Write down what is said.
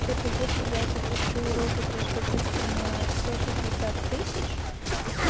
это если я запущу розыгрыш допустим на сто шестьдесят тысяч